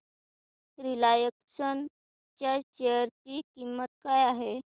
Reliance च्या share ची किंमत काय आहे